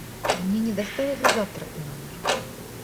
мне не доставили завтрак в номер